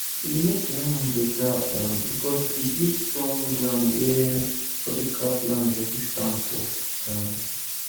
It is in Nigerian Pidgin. e dey make terrarium um better because e dey give strong ground wey tropical plant dem fit stand for um